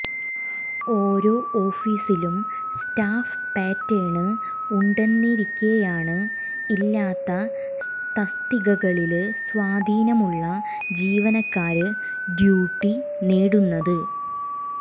ഓരോ ഓഫീസിലും staff pattern ഉണ്ടെന്നിരിക്കേയാണ് ഇല്ലാത്ത തസ്തികകളില് സ്വാധീനമുള്ള ജീവനക്കാര് ഡ്യൂട്ടി നേടുന്നത്